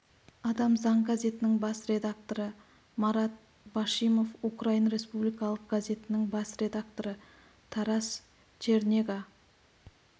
адам заң газетінің бас редакторы марат башимов украин республикалық газетінің бас редакторы тарас чернега